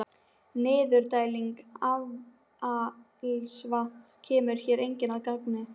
Niðurdæling affallsvatns kemur hér einnig að gagni.